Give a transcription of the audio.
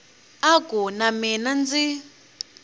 a ku na mina ndzi